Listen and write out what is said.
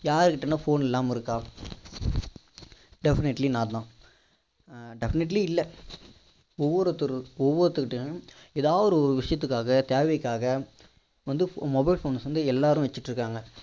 யாருகிட்டனா phone இல்லாம இருக்கா definitely not know ஆஹ் definitely இல்ல ஒவ்வொருத்தரு ஒவ்வொருத்தர் கிட்டையும் எதாவது ஒரு விஷயத்துகாக தேவைக்காக வந்து mobile phones வந்து எல்லாரும் வச்சி கிட்டு இருக்காங்க